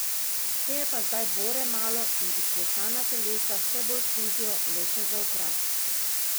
Te je pa zdaj bore malo in izklesana telesa vse bolj služijo le še za okras.